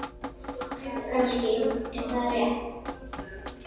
Kannski er það rétt.